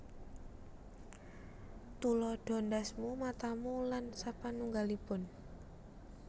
Tuladha ndhasmu matamu lan sapanungggalipun